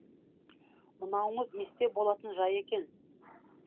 мынауыңыз есте болатын жай екен